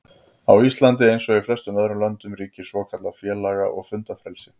Á Íslandi, eins og í flestum öðrum löndum, ríkir svokallað félaga- og fundafrelsi.